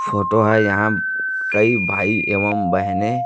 photo हैं यहाॅं कई भाई एवंम बहने--